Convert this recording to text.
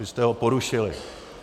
Vy jste ho porušili.